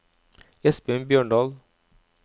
Espen Bjørndal